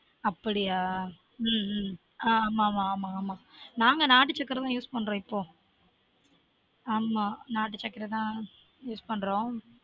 அப்டியா உம் உம் ஆன் ஆமா ஆமா நாங்க நாட்டு சக்கரை தான் use பண்ட்றோம் இப்போ